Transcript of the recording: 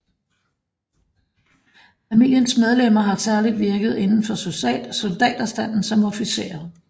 Familiens medlemmer har særligt virket inden for soldaterstanden som officerer